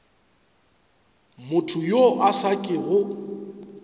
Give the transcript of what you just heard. motho yo a sa kego